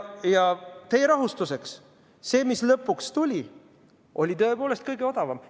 Ja teie rahustuseks: see, mis lõpuks tuli, oli tõepoolest kõige odavam.